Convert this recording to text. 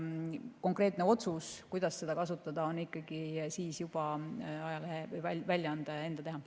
Konkreetne otsus, kuidas seda kasutada, on ikkagi juba ajalehe väljaandja enda teha.